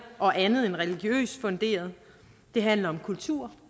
og andet end religiøst funderet det handler om kultur